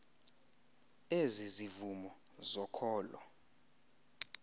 ezi zivumo zokholo